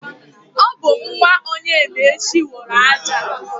Ọ bụ nwa Onyemaechi wụrụ aja.